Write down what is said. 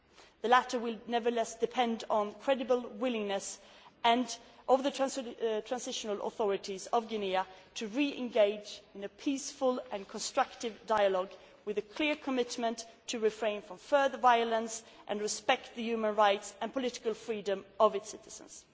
process. The latter will nevertheless depend on the credible willingness of the transitional authorities of Guinea to re engage in a peaceful and constructive dialogue with a clear commitment to refraining from further violence and to respecting the human rights and political freedoms of its citizens.